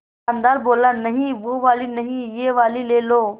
दुकानदार बोला नहीं वो वाली नहीं ये वाली ले लो